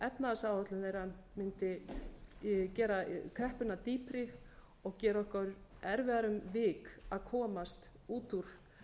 efnahagsáætlun þeirra mundi gera kreppuna dýpri og gera okkur erfiðara um vik að komast út úr